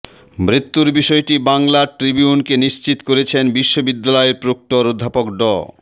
মৃত্যুর বিষয়টি বাংলা ট্রিবিউনকে নিশ্চিত করেছেন বিশ্ববিদ্যালয়ের প্রক্টর অধ্যাপক ড